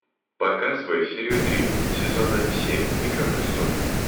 показывай серию три сезона семь игра престолов